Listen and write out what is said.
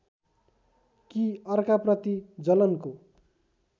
कि अर्काप्रति जलनको